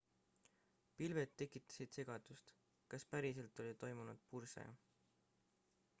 pilved tekitasid segadust kas päriselt oli toimunud purse